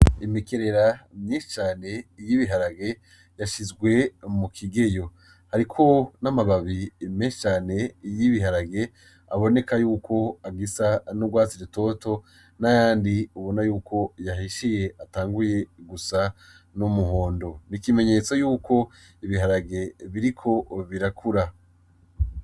Imikerera myinshi cane y'ibiharage yashizwe mu kigeyo, hariko n'amababi menshi cane y'ibiharage aboneka yuko agisa n'urwatsi rutoto n'ayandi ubona yuko yahishiye atanguye gusa n'umuhondo ni ikimenyetso yuko ibiharage biriko birakura.